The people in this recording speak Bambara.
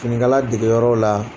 Finikala degeyɔrɔ la.